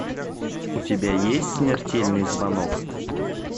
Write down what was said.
у тебя есть смертельный звонок